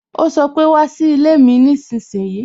O sọ pé "wá sí ilé mi nísinsìnyí"